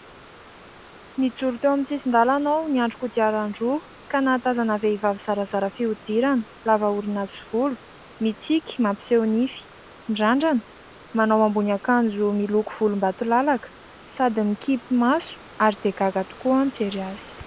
Nijoro teo amin'ny sisin-dalana aho, niandry kodiaran-droa ka nahatazana vehivavy zarazara fihodirana, lava orona sy volo, mitsiky, mampiseho nify, mirandrana, manao ambonin'akanjo miloko volombatolalaka sady mikipy maso ary dia gaga tokoa aho nijery azy.